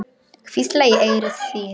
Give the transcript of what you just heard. Hvísla í eyru þín.